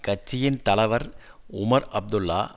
கட்சியின் தலவர் உமர் அப்துல்லா